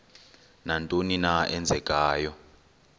nantoni na eenzekayo